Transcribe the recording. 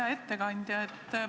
Hea ettekandja!